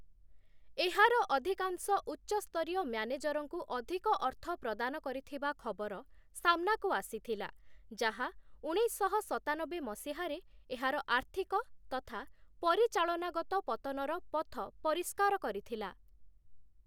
ଏହାର ଅଧିକାଂଶ ଉଚ୍ଚ ସ୍ତରୀୟ ମ୍ୟାନେଜରଙ୍କୁ ଅଧିକ ଅର୍ଥ ପ୍ରଦାନ କରିଥିବା ଖବର ସାମ୍ନାକୁ ଆସିଥିଲା, ଯାହା ଉଣେଇଶଶହ ସତାନବେ ମସିହାରେ ଏହାର ଆର୍ଥିକ ତଥା ପରିଚାଳନାଗତ ପତନର ପଥ ପରିଷ୍କାର କରିଥିଲା ।